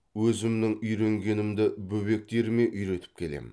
өзімнің үйренгенімді бөбектеріме үйретіп келемін